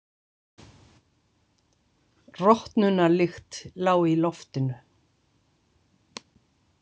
Rotnunarlykt lá í loftinu.